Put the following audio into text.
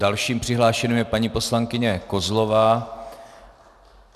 Další přihlášenou je paní poslankyně Kozlová.